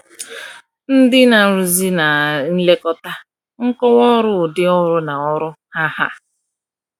Ndị Na-arụzi na Nlekọta, Nkọwa Ọrụ / Ụdị Ọrụ na Ọrụ Ha Ha